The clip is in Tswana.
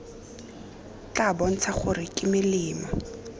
tla bontsha gore ke melemo